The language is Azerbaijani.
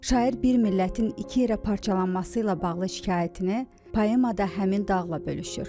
Şair bir millətin iki yerə parçalanması ilə bağlı şikayətini poemada həmin dağla bölüşür.